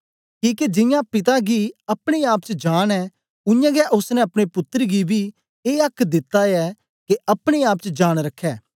किके जियां पिता गी अपने आप च जांन ऐ उयांगै ओसने अपने पुत्तर गी बी ए आक्क दित्ता ऐ के अपने आप च जांन रखै